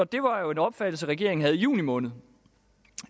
det var jo en opfattelse regeringen havde i juni måned